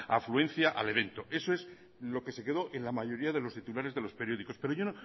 afluencia al evento eso es lo que se quedó en la mayoría de los titulares de los periódicos pero yo